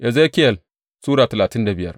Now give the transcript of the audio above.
Ezekiyel Sura talatin da biyar